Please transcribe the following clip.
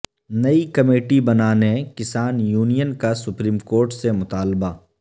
نئی کمیٹی بنانے کسان یونین کا سپریم کورٹ سے مطالبہ